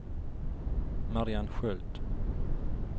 Marianne Sköld